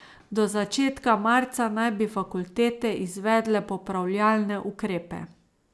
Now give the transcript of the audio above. Do začetka marca naj bi fakultete izvedle popravljalne ukrepe.